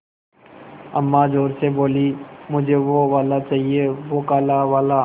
अम्मा ज़ोर से बोलीं मुझे वो वाला चाहिए वो काला वाला